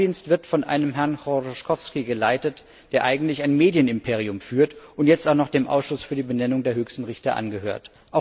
Der Geheimdienst wird von einem Herrn Choroschkowskij geleitet, der eigentlich ein Medienimperium führt und jetzt auch noch dem Ausschuss für die Benennung der höchsten Richter angehört.